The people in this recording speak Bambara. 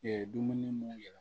dumuni mun yɛlɛma